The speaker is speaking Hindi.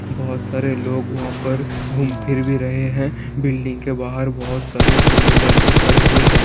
बहुत सारे लोग वहां पर घूम फिर भी रहे हैं | बिल्डिंग के बाहर बहुत सारे टू व्हीलर भी खड़े हैं ।